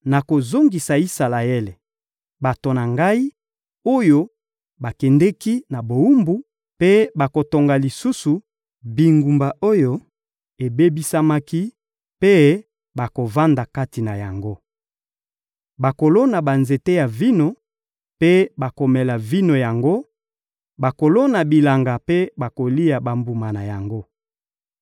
Nakozongisa Isalaele, bato na Ngai, oyo bakendeki na bowumbu, mpe bakotonga lisusu bingumba oyo ebebisamaki mpe bakovanda kati na yango. Bakolona banzete ya vino mpe bakomela vino na yango, bakolona bilanga mpe bakolia bambuma na yango.